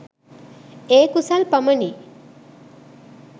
ඒ කුසල් පමණි.